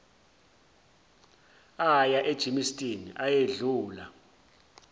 aya egermiston ayedlula